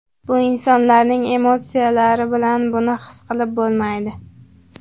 Bu insonlarning emotsiyalari bilan buni his qilib bo‘lmaydi.